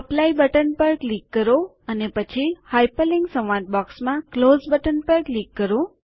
apply button પર click કરો અને પછી હાઇપરલિન્ક સંવાદ બૉક્સમાં ક્લોઝ બટન પર ક્લિક કરો